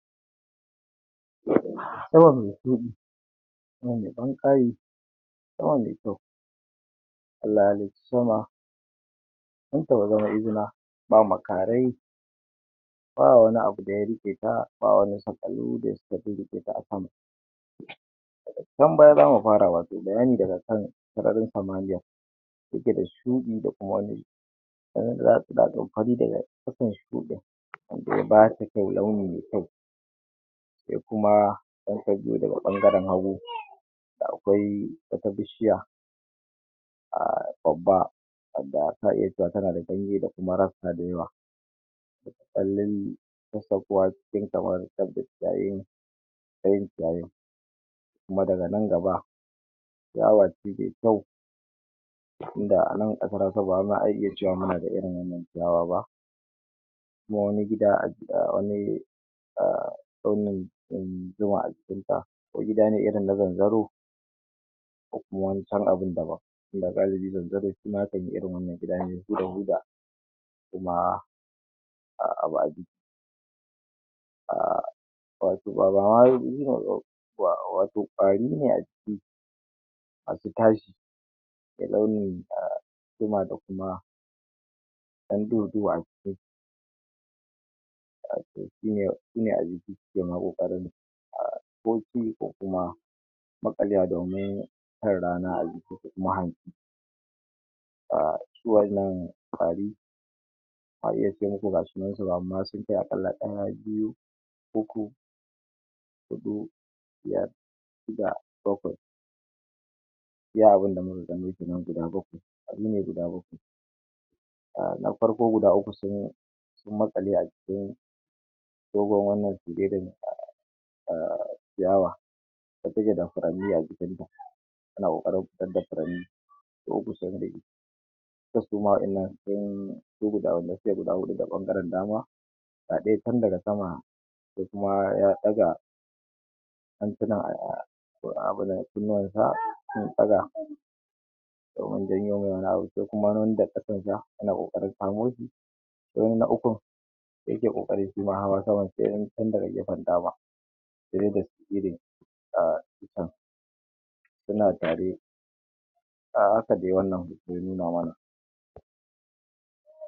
mai kyau Allah ya halicce sama dan ta zama izina ba makari ba wani abu daya rike ta ba wani saƙalo da suka rike ta a sama daga can baya zamu fara wato bayani daga sararin samaniya take da subi da kuma wani sannan wanda ya bata kyau. Launi mai kyau sai kuma in ka zo daga bangaren hagu akwai wata bishiya ahhh babba wadda za ka iya cewa tana da ganye da kuma rassha da yawa fitar da ciyayin daya. Ciyayen kuma daga nan gaba ciyawa ce mai kyau tunda anan baza a ce ba muna da wannan ciyawa ba. Kuma wani gida a wani ahh wannan dan zuma a jikinta gida ne irin na zanzaro ko kuma wani can abu daban tunda galibi zanzaro zaka ga irin wannan gidan mai huda huda kuma ahhh ahhhh. Wato bama wato kwari ne a ciki masu tashi mai launin zuma da kuma dan duhu duhu a jiki. To shi ne a jiki suke kokarin ah boki ko kuma maƙalewa a jikinsu domin samun rana a jikinsu ko kuma hantsi. Ahhh shi wannan kwari bazan iya ce muku sunansu ba amma sun kai akalla daya biyu uku hudu biyar shida bakwai. Iya abin da muka gani kenan guda bakwai. Kwari ne guda bakwai. Ahh na farko guda uku sun maƙale a jikin dogon wannan ahh dawa da take da amfani a jikinta tana kokarin fitar da furanni. To kusandali kar suma waɗannan su ga wannan suka gudu ta bangaren dama ga daya can daga sama daya kuma ya daga hannunsa ahhh abin nan kunnuwansa sun daga domin janyo mai wani abu. Sai kuma wanda kasansa yana kokarin kamushi. Dayan na ukun yana kokarin shima hawa saman daya tun daga gefen dama direba skidin ahhh itcen suna tare. A haka dai wannan hoto ya nuna mana.